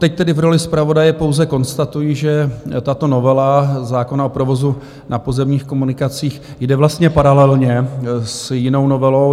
Teď tedy v roli zpravodaje pouze konstatuji, že tato novela zákona o provozu na pozemních komunikacích jde vlastně paralelně s jinou novelou.